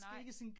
Nej